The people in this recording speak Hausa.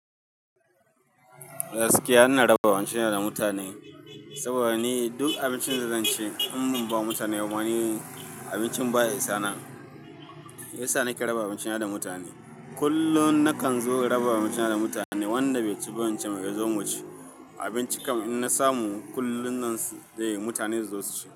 Gaskiya ina raba abincin na da mutane, saboda ni duk abincin da zan ci in ban ba mutane ba ni abincin baya isa na, ya sa nake raba abincin na da mutane. Kullum nakan zo in raba abincin na da mutane wanda bai ci abinci ba yazo muci, abinci kam in na samu kullum nan dai mutane zasu ci.